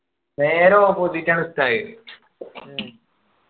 വേറെ ഇഷ്ടായത്